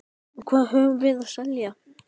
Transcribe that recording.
Og hvað höfum við að selja?